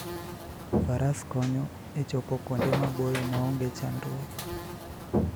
Faras konyo e chopo kuonde maboyo maonge chandruok.